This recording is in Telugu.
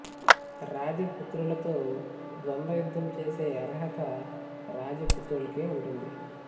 రాజ పుత్రులతో ద్వంద్వ యుద్ధం చేసే అర్హత రాజ పుత్రులకే వుంటుంది